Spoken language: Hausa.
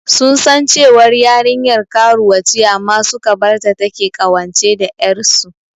Sun san cewar yarinyar karuwa ce amma suka barta take ƙawance da ƴarsu.